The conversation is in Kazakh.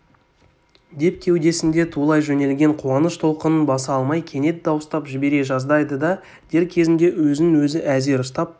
деп кеудесінде тулай жөнелген қуаныш толқынын баса алмай кенет дауыстап жібере жаздайды да дер кезінде өзін-өзі әзер ұстап